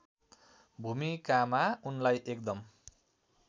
भूमिकामा उनलाई एकदम